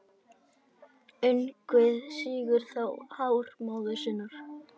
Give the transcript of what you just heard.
Ungviðið sýgur því hár móður sinnar.